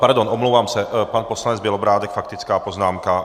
Pardon, omlouvám se, pan poslanec Bělobrádek, faktická poznámka.